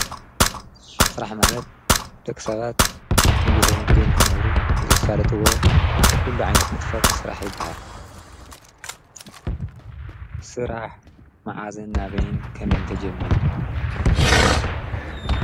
ሥራሕ ማለት ደኽ ሰባት ሚጐተመጊዮም ኽነብሩ ዘሣለትዎ ኲሉ ዓይነት ምትፈት ሥራሕ ይበሃል ሥራሕ መዓዝን ናበይን ከመይንተ ጀሚሩ።